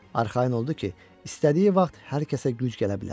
Arxayın oldu ki, istədiyi vaxt hər kəsə güc gələ bilər.